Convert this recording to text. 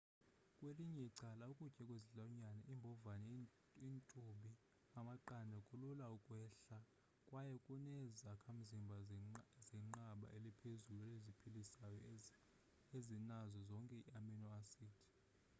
kwelinye icala ukutya kwezilwanyane iimbhovane iintubi amaqanda kulula ukwehla kwaye kuneezakhamzimbha zenqanaba eliphezulu eziphilisayo ezinazo zonke ii-amino acids